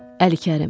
Əli Kərim.